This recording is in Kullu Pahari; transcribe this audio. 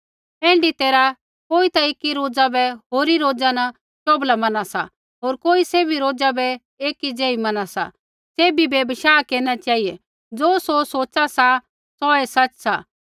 ऐण्ढी तैरहा कोई ता एकी रोज़ा बै होरी रोज़ा न शोभला मना सा होर कोई सैभी रोज़ा बै एक ज़ेही मना सा सैभ बै बशाह केरना चेहिऐ ज़ो सौ सोचा सा सौऐ सच सा